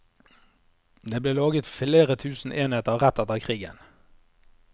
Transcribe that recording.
Det ble laget flere hundre tusen enheter rett etter krigen.